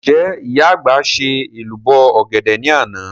Ǹjẹ́ ìyá àgbà ṣe èlùbọ́ ọ̀gẹ̀dẹ̀ ní àná?